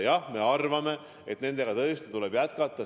Jah, me arvame, et neid tõesti tuleb jätkata.